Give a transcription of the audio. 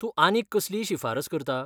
तूं आनीक कसलीय शिफारस करता?